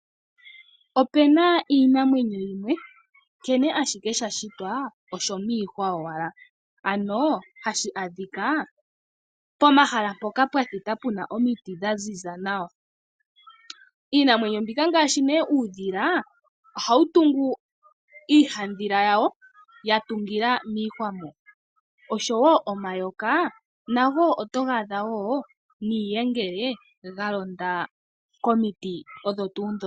Ope na iinamwenyo yimwe nkene ashike sha shitwa osho miihwa owala, ano hashi adhika pomahala mpoka pwa thita omiti dha ziza nawa. Iinamwenyo mbika ngaashi nee uudhila, ohawu tungu iihadhila yawo wa tungila miihwa mo. Osho wo omayoka nago otoga adha wo niiyengele ya londa komiti odho tuu ndhoka.